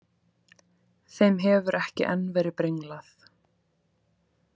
Þeim hefur ekki enn verið brenglað.